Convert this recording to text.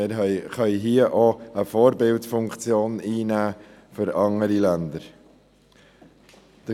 Wir können auch eine Vorbildfunktion für andere Länder einnehmen.